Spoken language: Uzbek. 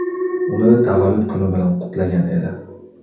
uni tavallud kuni bilan qutlagan edi.